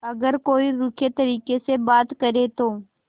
अगर कोई रूखे तरीके से बात करे तो